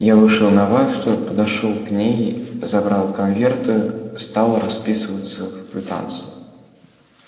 я вышел на вахту подошёл к ней забрал конверты стал расписываться в квитанции